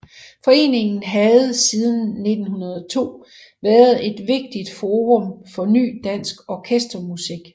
Foreningen havde siden 1902 været et vigtigt forum for ny dansk orkestermusik